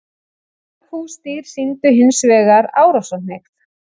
Mörg húsdýr sýndu hins vegar árásarhneigð.